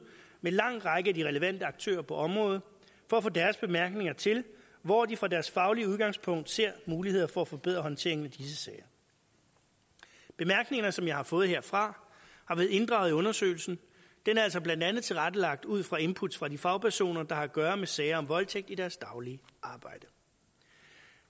med en lang række af de relevante aktører på området for at få deres bemærkninger til hvor de fra deres faglige udgangspunkt ser muligheder for at forbedre håndteringen af disse sager bemærkningerne som jeg har fået herfra har været inddraget i undersøgelsen det er altså blandt andet tilrettelagt ud fra input fra de fagpersoner der har at gøre med sager om voldtægt i deres daglige arbejde